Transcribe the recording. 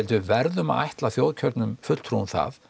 við verðum að ætla þjóðkjörnum fulltrúum það